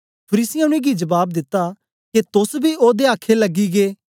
फरीसियें उनेंगी जबाब दिता के तोस बी ओदे आखे लगी गै